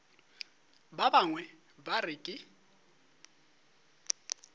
ba bangwe ba re ke